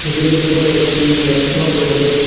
টেবিলের উপরে একটি ল্যাপটপ রয়েছে।